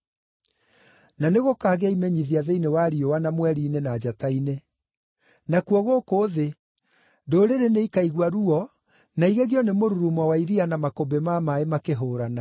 “Na nĩgũkagĩa imenyithia thĩinĩ wa riũa na mweri-inĩ na njata-inĩ. Nakuo gũkũ thĩ, ndũrĩrĩ nĩikaigua ruo na igegio nĩ mũrurumo wa iria na makũmbĩ ma maaĩ makĩhũũrana.